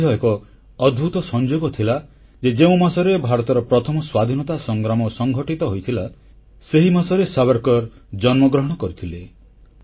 ଏହା ମଧ୍ୟ ଏକ ଅଦ୍ଭୁତ ସଂଯୋଗ ଥିଲା ଯେ ଯେଉଁ ମାସରେ ଭାରତର ପ୍ରଥମ ସ୍ୱାଧୀନତା ସଂଗ୍ରାମ ସଂଗଠିତ ହୋଇଥିଲା ସେହି ମାସରେ ସାବରକର ଜନ୍ମଗ୍ରହଣ କରିଥିଲେ